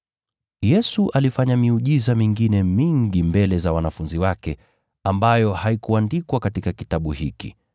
Yesu alifanya miujiza mingine mingi mbele za wanafunzi wake, ambayo haikuandikwa katika kitabu hiki.